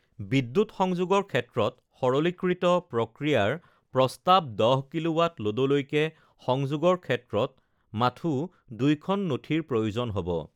বিদ্যুৎ সংযোগৰ ক্ষেত্ৰত সৰলীকৃত প্ৰক্ৰিয়াৰ প্ৰস্তাৱ ১০ কিঃৱাঃ ল'ডলৈকে সংযোগৰ ক্ষেত্ৰত মাথো ২ খন নথিৰ প্ৰয়োজন হ ব